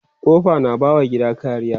kofa na ba wa gida kariya